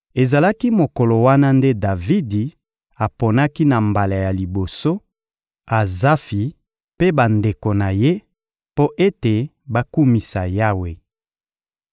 Ezalaki mokolo wana nde Davidi aponaki na mbala ya liboso Azafi mpe bandeko na ye, mpo ete bakumisa Yawe: